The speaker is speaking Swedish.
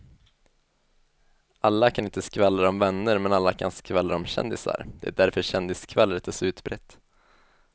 Alla kan inte skvallra om vänner men alla kan skvallra om kändisar, det är därför kändisskvallret är så utbrett.